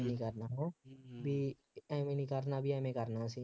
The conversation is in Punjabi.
ਐਵੇਂ ਨਹੀਂ ਕਰਨਾ ਬਈ ਐਵੇਂ ਨਹੀਂ ਕਰਨਾ, ਬਈ ਐਵੇਂ ਕਰਨਾ ਅਸੀਂ,